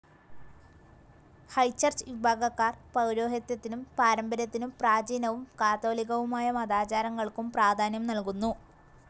High Church വിഭാഗക്കാർ പൗരോഹിത്യത്തിനും പാരമ്പര്യത്തിനും പ്രാചീനവും കാതോലികവുമായ മതാചാരങ്ങൾക്കും പ്രാധാന്യം നല്കുന്നു.